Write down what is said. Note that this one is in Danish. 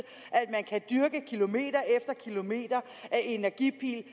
at dyrke kilometer efter kilometer af energipil